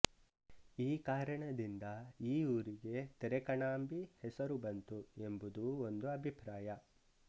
ಈ ಕಾರಣದಿಂದ ಈ ಊರಿಗೆ ತೆರಕಣಾಂಬಿ ಹೆಸರು ಬಂತು ಎಂಬುದೂ ಒಂದು ಅಭಿಪ್ರಾಯ